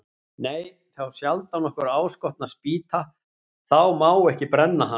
Nei, þá sjaldan okkur áskotnast spýta, þá má ekki brenna hana.